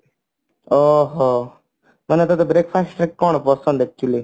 ଓ ହୋ ମାନେ ତତେ breakfast ରେ କଣ ପସନ୍ଦ actually